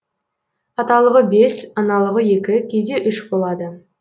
аталығы бес аналығы екі кейде үш болады